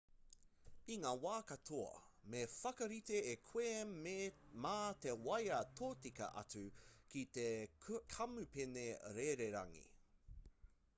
i ngā wā katoa me whakarite e koe mā te waea tōtika atu ki te kamupene rererangi